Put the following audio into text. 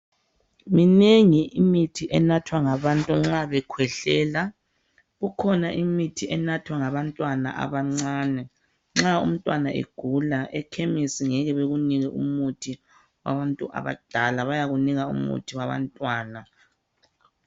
minengi imithi enathwa ngabantu nxa bekhwehlela kukhona imithi elathwa ngabantwana abancane nxa umntwana egula ekhemisi ngeke bekunike umuthi wabantu abadala bayakunika umuthi wabantwana